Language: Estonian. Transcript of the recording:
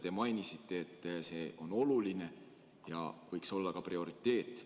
Te mainisite, et see on oluline ja võiks olla prioriteet.